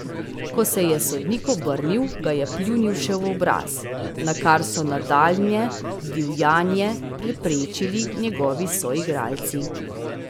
Ko se je sodnik obrnil, ga je pljunil še v obraz, nakar so nadaljnje divjanje preprečili njegovi soigralci.